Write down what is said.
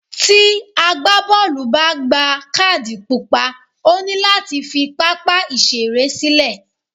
Tí agbá bọ́ọ̀lù bá gba kádì pupa, ó ní láti fi pápá ìṣeré sílẹ̀.